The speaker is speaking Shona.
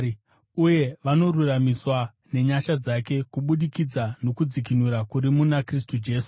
uye vanoruramisirwa nenyasha dzake kubudikidza nokudzikinura kuri muna Kristu Jesu.